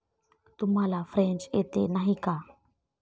तुम्हाला फ्रेंच येते, नाही का?